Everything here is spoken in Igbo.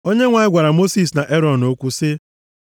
Onyenwe anyị gwara Mosis na Erọn okwu sị,